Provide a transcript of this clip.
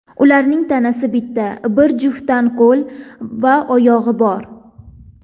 Ularning tanasi bitta, bir juftdan qo‘l va oyog‘i bor.